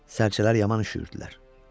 Sərçələr yaman üşüyürdülər.